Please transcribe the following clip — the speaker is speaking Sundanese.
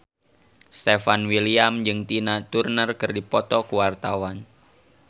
Stefan William jeung Tina Turner keur dipoto ku wartawan